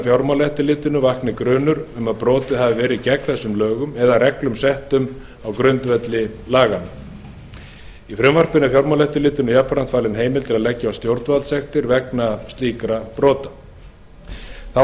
fjármálaeftirlitinu vakni grunur um að brotið hafi verið gegn lögunum eða reglum settum á grundvelli þeirra í frumvarpinu er fjármálaeftirlitinu jafnframt falin heimild til að leggja á stjórnvaldssekt vegna slíkra brota þá er